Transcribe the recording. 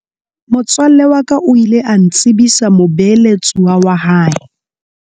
Motswalle wa ka o ile a ntsebisa mobeeletsuwa wa hae.